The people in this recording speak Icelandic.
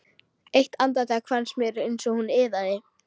Eitt andartak fannst mér eins og hún iðaði.